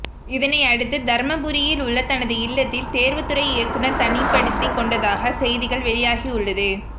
இதனை அடுத்து தர்மபுரியில் உள்ள தனது இல்லத்தில் தேர்வுத்துறை இயக்குனர் தனிப்படுத்திக் கொண்டதாக செய்திகள் வெளியாகியுள்ளது